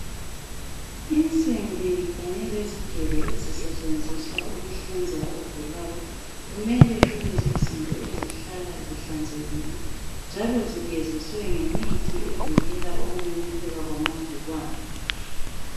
Insimbi kanye lezigelo ezisetshenziswa ukuhlinza ogulayo kumele kube yizinto ezihlala zihlanzekile njalo zigeziswe ngemithi evikela ukumemetheka kwamagcikwane.